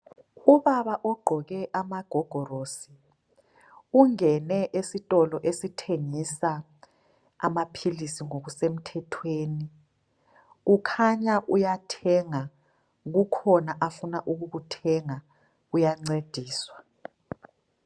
Ubaba ugqoke amagogorosi, ungene esitolo esithengisa amaphilisi ngokusemthethweni. Ukhanya uyathenga ,kukhona ufuna ukukuthenga uyancediswa.